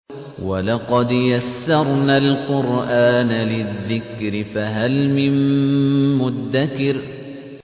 وَلَقَدْ يَسَّرْنَا الْقُرْآنَ لِلذِّكْرِ فَهَلْ مِن مُّدَّكِرٍ